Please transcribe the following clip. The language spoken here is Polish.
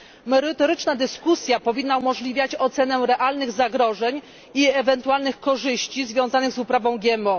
Merytoryczna dyskusja powinna umożliwiać ocenę realnych zagrożeń i ewentualnych korzyści związanych z uprawą GMO.